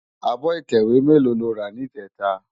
Ábò itèwé mèló ló rá nijètá?